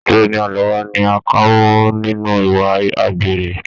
Ọgbẹni Àlàbá ni a kà mọ nínú ìwà àgbèrè.